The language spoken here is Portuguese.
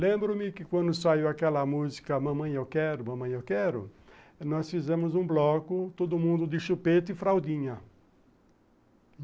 Lembro-me que quando saiu aquela música, Mamãe, Eu Quero, Mamãe, Eu Quero, nós fizemos um bloco, todo mundo de chupeta e fraldinha.